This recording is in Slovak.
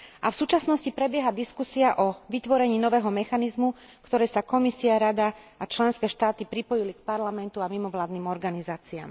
A v súčasnosti prebieha diskusia o vytvorení nového mechanizmu, v ktorej sa Komisia, Rada a členské štáty pripojili k Parlamentu a mimovládnym organizáciám.